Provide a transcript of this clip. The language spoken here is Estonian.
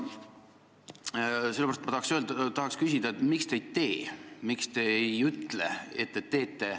Sellepärast tahan küsida, miks te ei tee, miks te ei ütle, et te teete.